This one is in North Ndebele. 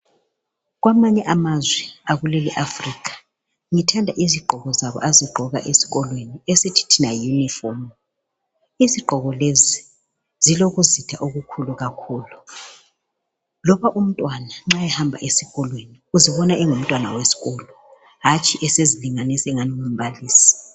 Kwamanye amazwe akuleli Africa ngithanda izigqoko abazigqoka esikolweni esithi thina yiyunifomu. Izigqoko lezi zilokuzotha okukhulu kakhulu, loba umntwana nxa ehamba esikolweni uzbona engumntwana wesikolo hantshi esezilinganisa ingani ngumbalisi.